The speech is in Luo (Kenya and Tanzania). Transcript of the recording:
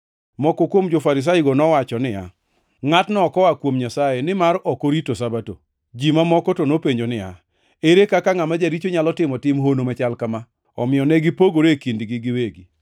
Moko kuom jo-Farisaigo nowacho niya, “Ngʼatni ok oa kuom Nyasaye, nimar ok orito Sabato.” Ji mamoko to nopenjo niya, “Ere kaka ngʼama jaricho nyalo timo tim hono machal kama?” Omiyo ne gipogore e kindgi giwegi.